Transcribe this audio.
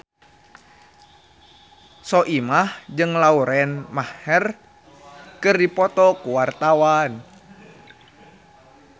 Soimah jeung Lauren Maher keur dipoto ku wartawan